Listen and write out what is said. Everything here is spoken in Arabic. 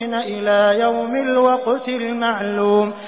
إِلَىٰ يَوْمِ الْوَقْتِ الْمَعْلُومِ